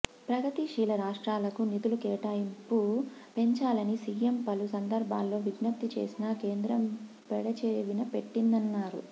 ప్రగతిశీల రాష్ట్రాలకు నిధులు కేటాయింపు పెంచాలని సీఎం పలు సందర్భాల్లో విజ్ఞప్తి చేసినా కేంద్రం పెడచెవిన పెట్టిందన్నారు